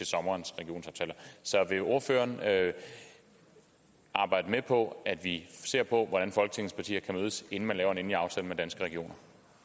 sommerens regionsaftaler så vil ordføreren arbejde med på at vi ser på hvordan folketingets partier kan mødes inden man laver en endelig aftale med danske regioner